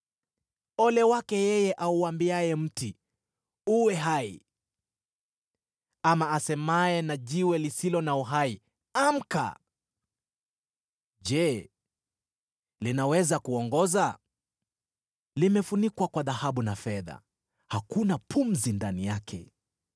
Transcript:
Ole wake yeye auambiaye mti, ‘Uwe hai!’ Ama asemaye na jiwe lisilo na uhai, ‘Amka!’ Je, linaweza kuongoza? Limefunikwa kwa dhahabu na fedha; hakuna pumzi ndani yake.